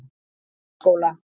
Laugaskóla